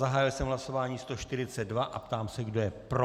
Zahájil jsem hlasování 142 a ptám se, kdo je pro.